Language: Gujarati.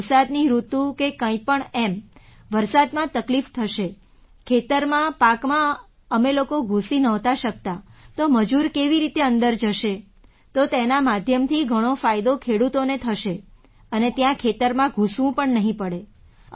વરસાદની ઋતુ કે કંઈ પણ એમ વરસાદમાં તકલીફ થશે ખેતરમાં પાકમાં અમે લોકો ઘૂસી નહોતા શકતા તો મજૂર કેવી રીતે અંદર જશે તો તેના માધ્યમથી ઘણો ફાયદો ખેડૂતોનો થશે અને ત્યાં ખેતરમાં ઘૂસવું પણ નહીં પડે